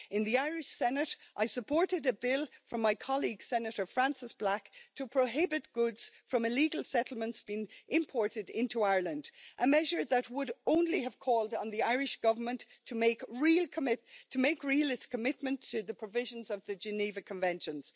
In the Irish Senate I supported a bill from my colleague Senator Frances Black to prohibit goods from illegal settlements being imported into Ireland, a measure that would only have called on the Irish Government to make real its commitment to the provisions of the Geneva Conventions.